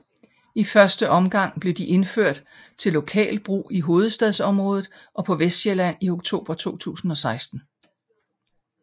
I første omgang blev de indført til lokal brug i Hovedstadsområdet og på Vestsjælland i oktober 2016